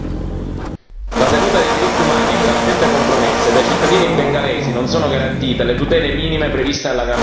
La tenuta dei diritti umani è gravemente compromessa ed ai cittadini bengalesi non sono garantite le tutele minime previste dalla gran parte del mondo.